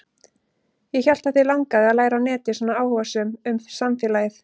Ég hélt að þig langaði að læra á netið, svona áhugasöm um samfélagið.